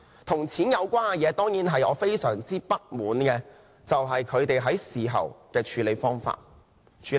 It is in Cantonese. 跟錢有關的事情，而我非常不滿的就是他們在事後的處理方法。